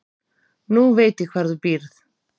Nú veit ég hvar þú býrð.